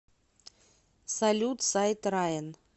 салют сайт раен